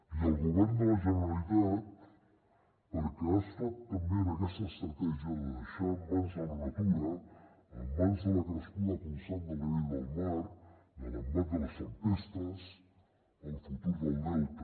i el govern de la generalitat perquè ha estat també en aquesta estratègia de deixar en mans de la natura en mans de la crescuda constant del nivell del mar de l’embat de les tempestes el futur del delta